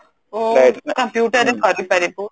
computer ରେ କରିପାରିବୁ